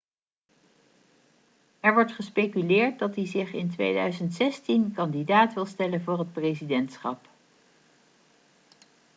er wordt gespeculeerd dat hij zich in 2016 kandidaat wil stellen voor het presidentschap